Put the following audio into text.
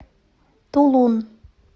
тулун